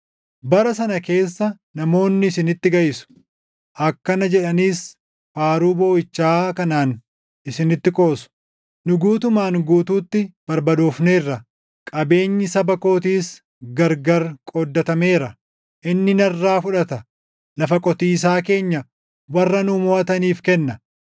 Bara sana keessa namoonni isinitti gaʼisu; akkana jedhaniis faaruu booʼichaa kanaan isinitti qoosu; ‘Nu guutumaan guutuutti barbadoofneerra; qabeenyi saba kootiis gargar qooddatameera. Inni narraa fudhata! Lafa qotiisaa keenya warra nu moʼataniif kenna.’ ”